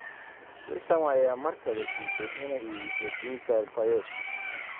West Ham ayaa mar kale diiday inay iibiso Dimitri Payet